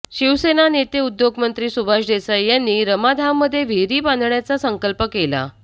शिवसेना नेते उद्योगमंत्री सुभाष देसाई यांनी रमाधाममध्ये विहीर बांधण्याचा संकल्प केला